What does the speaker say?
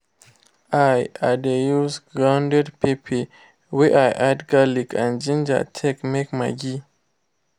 i i dey use grounded pepper wey i add garlic and ginger take make maggi